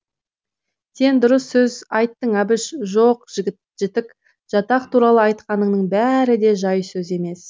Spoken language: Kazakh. сен дұрыс сөз айттың әбіш жоқ жітік жатақ туралы айтқаныңның бәрі де жай сөз емес